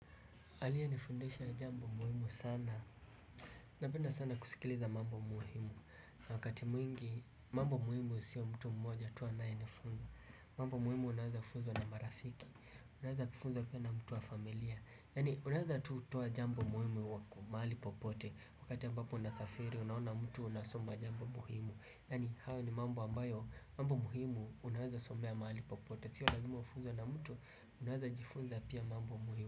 Aliye nifundisha jambo muhimu sana, napenda sana kusikiliza mambo muhimu Wakati mwingi mambo muhimu sio mtu mmoja tu anaye nifunza mambo muhimu unaweza fuzwa na marafiki, unaweza kufuzwa pia na mtu wa familia Yani unaweza tuwa jambo muhimu wako, mali popote Wakati ambapo unasafiri, unaona mtu unasoma jambo muhimu Yani hao ni mambo ambayo, mambo muhimu unaweza somea mali popote Sio lazima ufuzwe na mtu, unaweza jifunza pia mambo muhimu.